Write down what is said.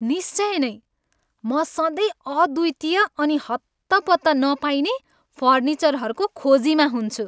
निश्चय नैँ! म सधैँ अद्वितीय अनि हत्तपत्त नपाइने फर्निचरहरूको खोजीमा हुन्छु।